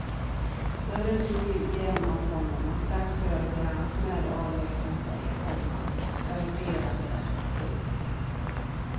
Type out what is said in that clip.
Dörren slog igen om honom och strax hörde de hans märr avlägsna sig, komma galopperande. punkt